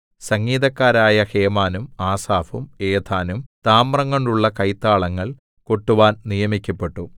സംഗീതക്കാരായ ഹേമാനും ആസാഫും ഏഥാനും താമ്രംകൊണ്ടുള്ള കൈത്താളങ്ങൾ കൊട്ടുവാൻ നിയമിക്കപ്പെട്ടു